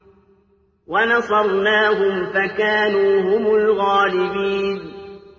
وَنَصَرْنَاهُمْ فَكَانُوا هُمُ الْغَالِبِينَ